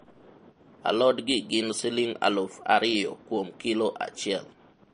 alod gi gin siling' aluf ariyo kuom kilo achiel